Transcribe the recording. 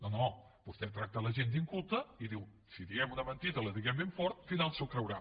no no vostè tracta la gent d’inculta i diu si diem una mentida diguem la ben fort i al final s’ho creurà